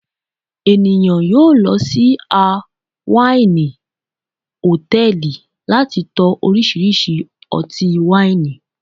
eniyan yoo lọ si a waini hòtẹ́ẹ̀lì, lati tó orisirisi oti waini